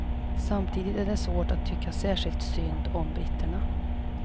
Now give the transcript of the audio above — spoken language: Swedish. Samtidigt är det svårt att tycka särskilt synd om britterna.